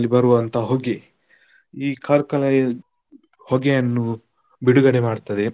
ಬರುವಂತ ಹೊಗೆ ಈ ಕಾರ್ಖಾನೆಯ ಹೊಗೆಯನ್ನು ಬಿಡುಗಡೆ ಮಾಡ್ತದೆ.